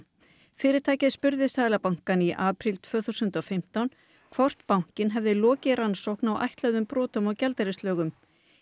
fyrirtækið spurði Seðlabankann í apríl tvö þúsund og fimmtán hvort bankinn hefði lokið rannsókn á ætluðum brotum á gjaldeyrislögum